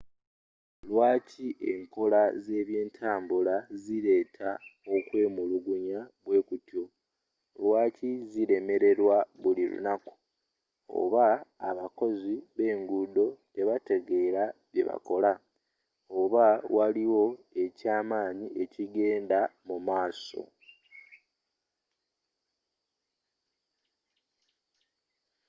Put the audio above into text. lwaaki enkola z'ebyentambula zileeta okwemulugunya bwekutyo lwaki zilemelerwa buli lunaku oba abakozi b'enguudo tebategeera kyebakola oba waliwo ekyamaanyi ekigenda mumaaso